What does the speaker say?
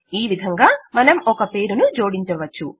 ఈ విధంగా మనం ఒక పేరును జోడించవచ్చు